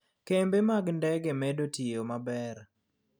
Kembe mag ndege medo tiyo maber.